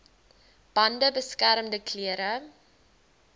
bande beskermende klere